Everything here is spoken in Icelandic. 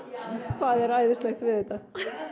hvað er æðislegt við þetta